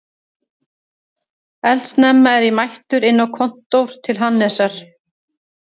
Eldsnemma er ég mættur inn á kontór til Hannesar